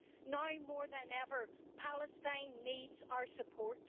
Now more than ever, Palestine needs our support.